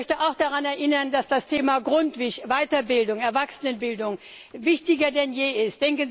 Ich möchte auch daran erinnern, dass das Thema GRUNDTVIG, Weiterbildung, Erwachsenenbildung, wichtiger denn je ist.